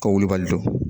Ka wulibali don